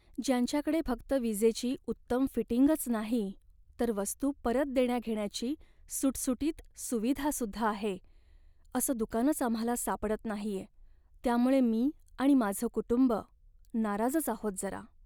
ज्यांच्याकडे फक्त विजेची उत्तम फिटिंगच नाही तर वस्तू परत देण्याघेण्याची सुटसुटीत सुविधा सुद्धा आहे, असं दुकानच आम्हाला सापडत नाहीये, त्यामुळे मी आणि माझं कुटुंब नाराजच आहोत जरा.